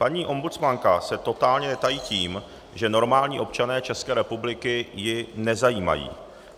Paní ombudsmanka se totálně netají tím, že normální občané České republiky ji nezajímají.